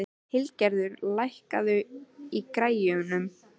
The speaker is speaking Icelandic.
Hildigerður, lækkaðu í græjunum.